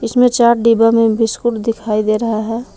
इसमें चार डिब्बा में बिस्कुट दिखाई दे रहा है।